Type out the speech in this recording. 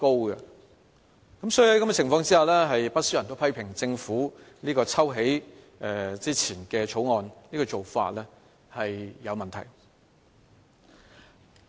所以，在這樣的情況之下，不少人批評政府抽起《2017年印花稅條例草案》的做法有問題。